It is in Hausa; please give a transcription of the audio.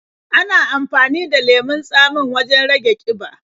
Ana amafani da lemon tsamin wajen rage ƙiba.